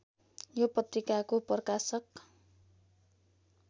यो पत्रिकाको प्रकाशक